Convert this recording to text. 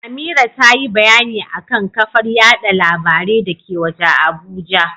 Amira tayi bayani akan kafar yada labarai dake waje a Abuja.